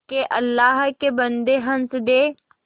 के अल्लाह के बन्दे हंस दे